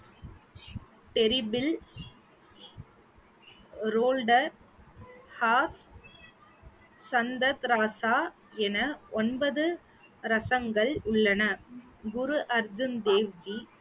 என ஒன்பது ரசங்கள் உள்ளன குரு அர்ஜூன் தேவ்ஜி